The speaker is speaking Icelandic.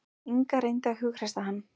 Inga reyndi að hughreysta hann.